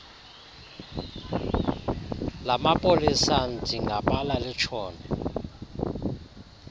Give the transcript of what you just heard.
lamapolisa ndingabala litshone